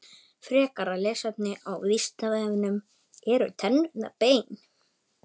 Frekara lesefni á Vísindavefnum: Eru tennurnar bein?